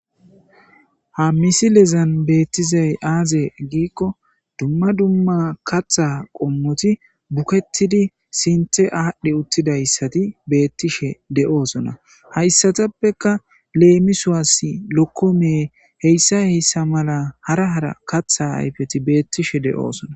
Ha misi lezan beettizay aaze giikko dumma dumma katha qommoti bukettidi sinte aadhdhe uttidayssati beettishe de7oosona hayssatappeka leemisuwas lokkome heyssa heyssa mala hara hara katha ayfeti beettishe de7oosona